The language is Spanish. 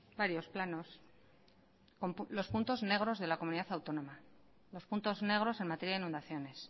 varios planos con los puntos negros de la comunidad autónoma los puntos negros en materia de inundaciones